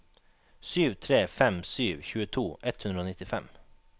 sju tre fem sju tjueto ett hundre og nittifem